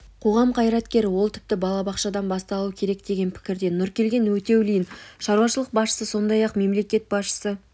қоғам қайраткері ол тіпті балабақшадан басталуы керек деген пікірде нұркелген өтеулин шаруашылық басшысы сондай-ақ мемлекет басшысы